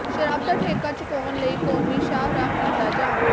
ਸ਼ਰਾਬ ਦਾ ਠੇਕਾ ਚੁਕਾਉਣ ਲਈ ਕੌਮੀ ਸ਼ਾਹਰਾਹ ਕੀਤਾ ਜਾਮ